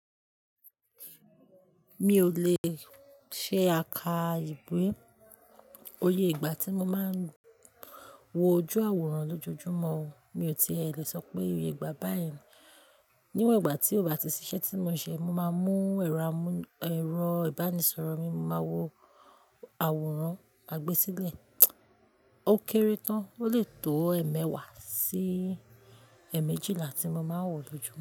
Mi ò le ṣe àká ìwé. Oyè ìgbà tí mo máa ń wo ojú àwòrán lójoojúmọ́, mi ò tí è lè sọ pé oyè ìgbà báyìí ni. Níwòn igbà tí ó bá ti ṣiṣẹ́ tí mo ṣe, mo máa mú ẹ̀rọ ìbánisọ̀rọ̀ mi, mo máa wo àwòrán àgbésílẹ̀. Ó kéré tán, ó lè tó ẹ̀ẹ̀mẹwàá sí ẹ̀ẹ̀mejìlà tí mo máa ń wò lójúmọ́